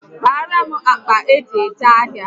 Kpaara m akpa eji eje ahịa